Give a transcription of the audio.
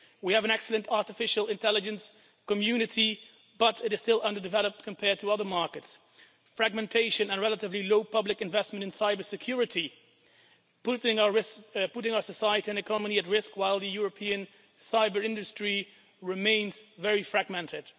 We have an excellent artificial intelligence community, but it is still underdeveloped compared to other markets. Fragmentation and relatively low public investment in cybersecurity put our society and economy at risk while the European cyber industry remains very fragmented.